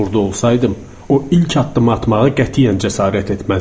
Burda olsaydım, o ilk addımı atmağa qətiyyən cəsarət etməzdim.